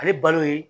Ale balo ye